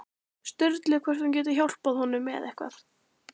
Sturlu hvort hún geti hjálpað honum með eitthvað.